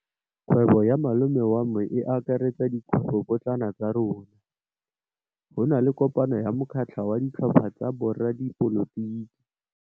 Kgwêbô ya malome wa me e akaretsa dikgwêbôpotlana tsa rona. Go na le kopanô ya mokgatlhô wa ditlhopha tsa boradipolotiki.